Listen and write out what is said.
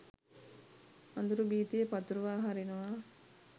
අඳුරු භීතිය පතුරුවා හරිනවා.